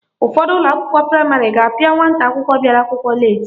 Ụfọdụ ụlọakwụkwọ praịmarị ga-apịa nwata akwụkwọ bịara akwụkwọ leeti